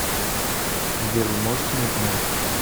сбер вы можете мне помочь